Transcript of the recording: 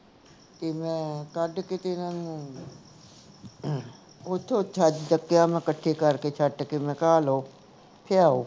ਤੇ ਮੈਂ ਕੱਡ ਕੇ ਤੇ ਇਹਨਾਂ ਨੂੰ ਓਥੋਂ ਛੱਜ ਚੁਕੀਆਂ ਮੈਂ ਕੱਠੇ ਕਰ ਕੇ ਸੁੱਟ ਤੇ ਮੈਂ ਕਿਹਾ ਆਹ ਲੋ ਭਿਆਉ